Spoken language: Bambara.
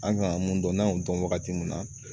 An kan ka mun dɔn n'an y'o dɔn wagati mun na